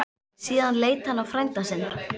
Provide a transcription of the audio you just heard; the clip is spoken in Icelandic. Síðan leit hann á frænda sinn.